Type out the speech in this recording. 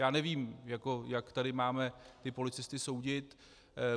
Já nevím, jak tady máme ty policisty soudit.